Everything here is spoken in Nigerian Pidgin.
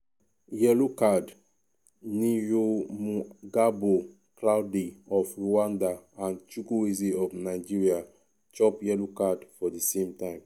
yellow card'niyomugabo claude of rwanda and chukuwweze of nigeria chop yellow card for di same time.